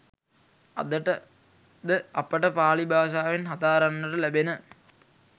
අදට ද අපට පාළි භාෂාවෙන් හදාරන්නට ලැබෙන